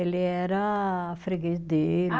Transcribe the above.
Ele era freguês dele.